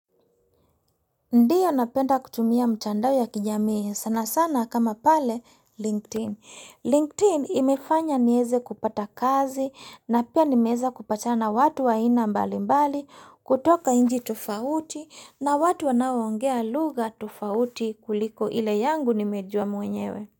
Ndiyo napenda kutumia mtandao ya kijamii sana sana kama pale LinkedIn. LinkedIn imefanya nieze kupata kazi na pia nimeeza kupatana watu wa aina mbali mbali kutoka inchi tofauti na watu wanaongea lugha tofauti kuliko ile yangu nimejua mwenyewe.